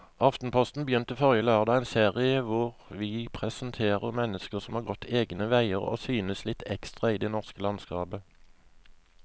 Aftenposten begynte forrige lørdag en serie hvor vi presenterer mennesker som har gått sine egne veier og synes litt ekstra i det norske landskapet.